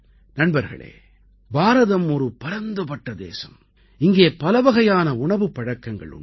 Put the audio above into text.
நண்பர்களே பாரதம் ஒரு பரந்துபட்ட தேசம் இங்கே பலவகையான உணவுப் பழக்கங்கள் உண்டு